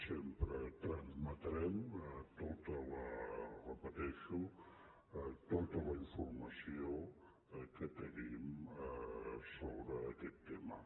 sempre trametrem ho repeteixo tota la informació que tenim sobre aquest tema